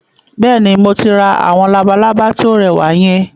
Bẹ́ẹ̀ni, mo rí àwọn labalábá tí ó rẹwà yẹn